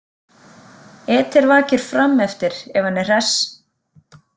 Eder vakir frameftir, ef hann er hress.